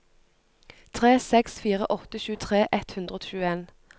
tre seks fire åtte tjuetre ett hundre og tjueen